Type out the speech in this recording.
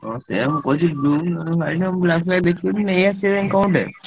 ହାଁ ସେଇଆ black ଫ୍ଲାକ ଦେଖି ନେଇ ଆସିବା ଯାଇ କଣ ଗୋଟେ।